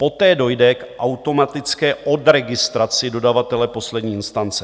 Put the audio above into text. Poté dojde k automatické odregistraci dodavatele poslední instance.